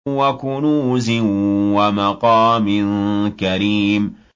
وَكُنُوزٍ وَمَقَامٍ كَرِيمٍ